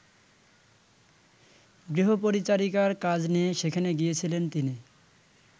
গৃহপরিচারিকার কাজ নিয়ে সেখানে গিয়েছিলেন তিনি।